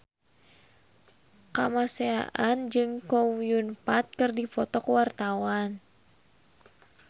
Kamasean jeung Chow Yun Fat keur dipoto ku wartawan